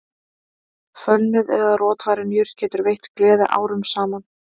Fölnuð eða rotvarin jurt getur veitt gleði árum saman